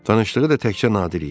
Tanışlığı da təkcə Nadir idi.